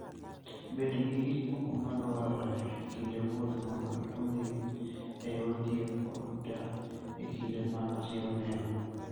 Bed gi gik moko madwarore e kinde wuoth mondo ikonygi e yor thieth koda e kinde ma masira oneno.